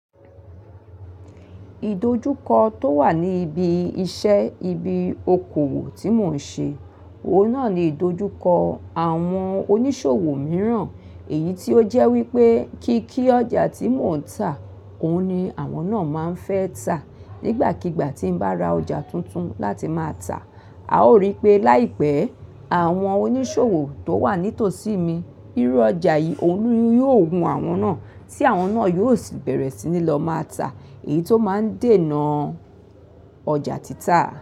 Ìdojúkọ tó wà ní ibi iṣẹ́ ibi okòwò tí mò ń ṣe, òun náà ni ìdojúkọ àwọn oníṣòwò mìíràn. Èyí tí ó jẹ́ wípé kí kí ọjà tí mò ń tà, òun ni àwọn náà máa ń fẹ́ tà. Nígbàkigbà tí ń bá ra ọjà tuntun láti máa tà, a ó rí pé láìpẹ́ àwọn oníṣòwò tó wà nítòsí mi, irú ọjà yìí òun ni yóò wu àwọn náà, tí àwọn náà yóò sì bẹ̀rẹ̀ sí ní lọ máa tà. Èyí tó máa ń dènà ọjà títà.